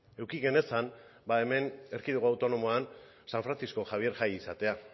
eduki genezan hemen erkidego autonomoan san francisco javier jai izatea